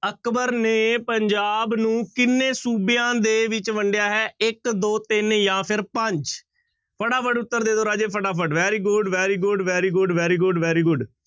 ਅਕਬਰ ਨੇ ਪੰਜਾਬ ਨੂੰ ਕਿੰਨੇ ਸੂਬਿਆਂ ਦੇ ਵਿੱਚ ਵੰਡਿਆ ਹੈ ਇੱਕ ਦੋ ਤਿੰਨ ਜਾਂ ਫਿਰ ਪੰਜ ਫਟਾਫਟ ਉੱਤਰ ਦੇ ਦਓ ਰਾਜੇ ਫਟਾਫਟ very good, very good, very good, very good, very good